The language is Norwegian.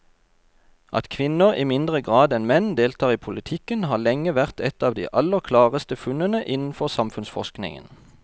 At kvinner i mindre grad enn menn deltar i politikken har lenge vært et av de aller klareste funnene innenfor samfunnsforskningen.